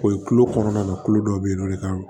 O ye kulo kɔnɔna na kulo dɔ be yen nɔ ne ka